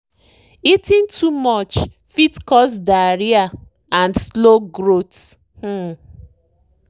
eating too much fit cause diarrhea and slow growth. um